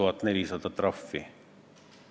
Vabandust, et ma aus olen, aga keskpärane küsimus!